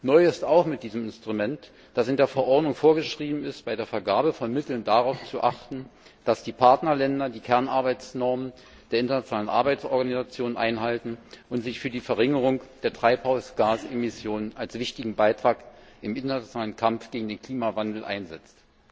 Neu ist auch mit diesem Instrument, dass in der Verordnung vorgeschrieben ist, bei der Vergabe von Mitteln darauf zu achten, dass die Partnerländer die Kernarbeitsnormen der internationalen Arbeitsorganisation einhalten und sich für die Verringerung der Treibhausgasemissionen als wichtigen Beitrag im internationalen Kampf gegen den Klimawandel einsetzen.